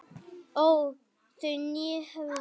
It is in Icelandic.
óð þau né höfðu